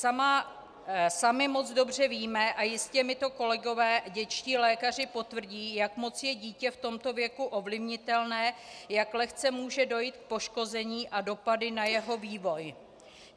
Sami moc dobře víme, a jistě mi to kolegové dětští lékaři potvrdí, jak moc je dítě v tomto věku ovlivnitelné, jak lehce může dojít k poškození a dopadům na jeho vývoj.